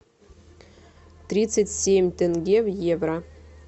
тридцать семь тенге в евро